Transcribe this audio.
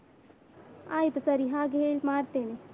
ಆಯ್ತು ಸರಿ ಹಾಗೆ ಹೇ ಮಾಡ್ತೇನೆ.